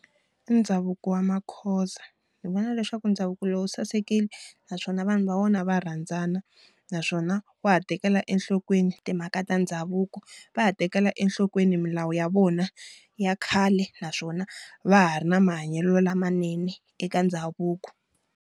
Ndhavuko wa maXhosa. Ni vona leswaku ndhavuko lowu sasekile, naswona vanhu va wona va rhandzana naswona wa ha tekela enhlokweni timhaka ta ndhavuko, va ha tekela enhlokweni milawu ya vona ya khale naswona va ha ri na mahanyelo lamanene eka ndhavuko.